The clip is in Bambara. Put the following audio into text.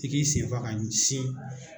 I k'i sen fa ka ɲɛsin